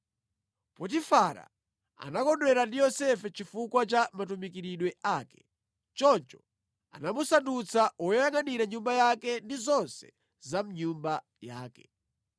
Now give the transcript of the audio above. Potifara anakondwera ndi Yosefe chifukwa cha matumikiridwe ake. Choncho anamusandutsa woyangʼanira nyumba yake ndi zonse za mʼnyumba yake.